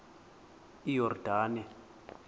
iyordane